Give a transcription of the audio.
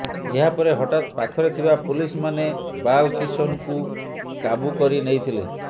ଏହାପରେ ହଠାତ୍ ପାଖରେ ଥିବା ପୁଲିସମାନେ ବାଲକିଷନକୁ କାବୁ କରିନେଇଥିଲେ